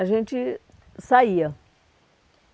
a gente saía.